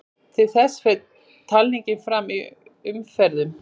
Til þess fer talningin fram í umferðum.